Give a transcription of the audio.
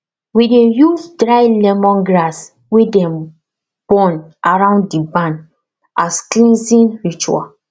we dey use dry lemongrass wey dem burn around the barn as cleansing ritual